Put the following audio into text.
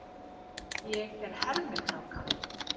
Ég er hermikráka.